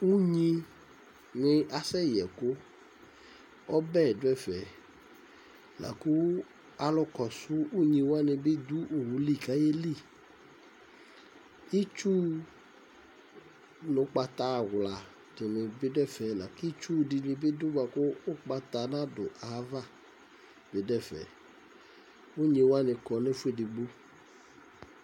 Unyinɩ asɛyɛ ɛkʋ Ɔbɛ dʋ ɛfɛ la kʋ alʋkɔsʋ unyi wanɩ bɩ dʋ owu li kʋ ayeli Itsu nʋ ʋgbata awla dɩnɩ bɩ dʋ ɛfɛ la kʋ itsu dɩnɩ bɩ dʋ bʋa kʋ ʋgbata nadʋ ayava bɩ dʋ ɛfɛ Unyi wanɩ kɔ nʋ ɛfʋ edigbo